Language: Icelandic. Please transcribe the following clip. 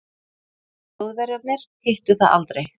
Þjóðverjarnir hittu það aldrei.